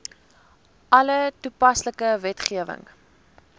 alle toepaslike wetgewing